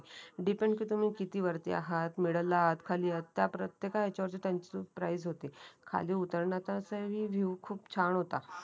Depend कि तुम्ही किती वरती आहात मिडल आहात खाली आहात त्या प्रत्येका येचा वरची त्यांची प्राईज होते खाली उतरण्याचा हि विव खूप छान होता.